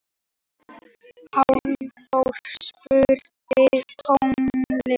Hallþór, spilaðu tónlist.